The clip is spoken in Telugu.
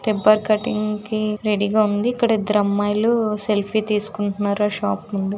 పేపర్ కటింగ్ కి రెడీగా ఉంది ఇక్కడ ఇద్దరు అమ్మాయిలు సెల్ఫీ తీసుకుంటున్నారా షాప్--